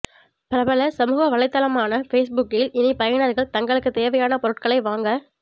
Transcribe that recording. பிரபல சமூக வலைதளமான பேஸ்புக்கில் இனி பயனர்கள் தங்களுக்கு தேவையான பொருட்களை வாங்க